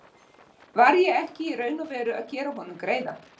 Var ég ekki í raun og veru að gera honum greiða?